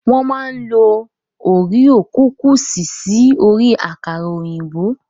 Wọ́n máa ń lo oríò kukùsì sí orí àkàrà òyìnbó.